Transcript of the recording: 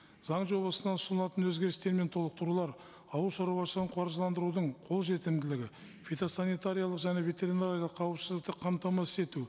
заң жобасына ұсынылатын өзгерістер мен толықтырулар ауыл шаруашылығын қаржыландырудың қолжетімділігі фитосанитариялық және ветеринариялық қауіпсіздікті қамтамасыз ету